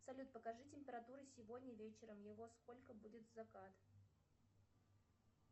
салют покажи температура сегодня вечером и во сколько будет закат